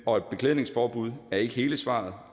og et beklædningsforbud er ikke hele svaret